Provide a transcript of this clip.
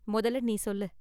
மொதல்ல நீ சொல்லு.